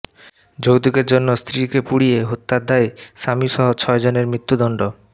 যৌতুকের জন্য স্ত্রীকে পুড়িয়ে হত্যার দায়ে স্বামীসহ ছয়জনের মৃত্যুদণ্ড